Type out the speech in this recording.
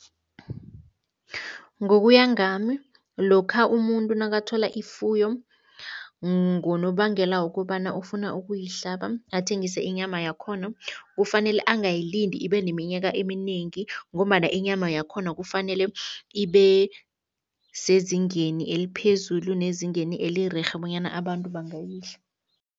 Ngokuya ngami, lokha umuntu nakathola ifuyo ngonobangela wokobana ufuna ukuyihlaba, athengise inyama yakhona, kufanele angayilindi ibe neminyaka eminengi ngombana inyama yakhona kufanele ibe sezingeni eliphezulu nezingeni elirerhe bonyana abantu bangayidla.